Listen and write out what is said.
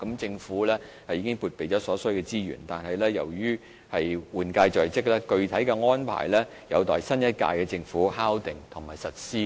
政府已撥備所需的資源，但由於換屆在即，具體安排有待新一屆政府敲定及實施。